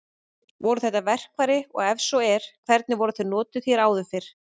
Voru þetta verkfæri og ef svo er hvernig voru þau notuð hér áður fyrr?